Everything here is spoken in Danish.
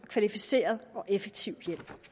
kvalificeret og effektiv hjælp